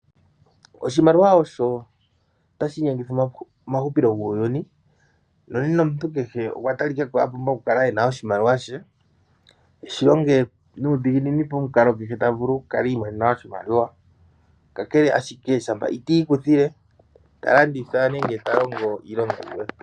Oshimaliwa osho tashi inyengitha omahupilo guuyuni. Omuntu kehe okwa talikako a pumbwa okukala ena oshimaliwa she, eshi longe nuudhiginini pomukalo kehe tavulu oku kala i imonena oshimaliwa, kakele ashike shampa itiikuthile talanditha nenge ta longo iilonga yilwe.